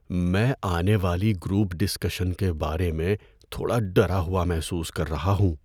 میں آنے والی گروپ ڈسکشن کے بارے میں تھوڑا ڈرا ہوا محسوس کر رہا ہوں۔